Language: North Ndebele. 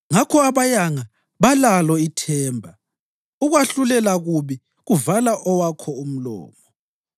Ngakho abayanga balalo ithemba, ukwahlulela kubi kuvala owakho umlomo.